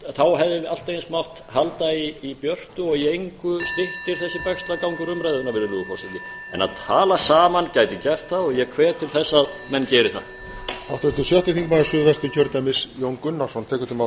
þá hefði allt eins mátt halda í björtu og í engu styttir þessi bægslagangur umræðuna virðulegur forseti en að tala saman gæti gert það ég hvet til þess að menn geri það